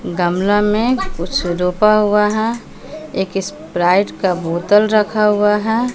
गमला में कुछ रोपा हुआ है एक स्प्राइट का बोतल रखा हुआ है।